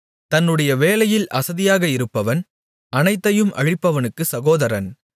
தன்னுடைய வேலையில் அசதியாக இருப்பவன் அனைத்தையும் அழிப்பவனுக்குச் சகோதரன்